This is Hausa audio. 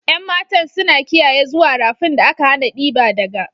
Yan matan suna kiyaye zuwa rafin da aka hana diba daga.